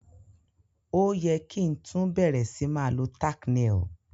O ye ki tun bẹ̀rẹ̀ si ma lo tack nail